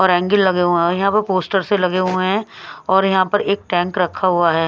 और एंगल लगे हुए हैं और यहां पर पोस्टर से लगे हुए हैं और यहां पर एक टैंक रखा हुआ है।